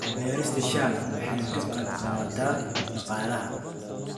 Beerista shaaha waxay ka qayb qaadataa dhaqaalaha.